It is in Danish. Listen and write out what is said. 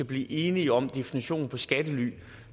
blive enige om definitionen på skattely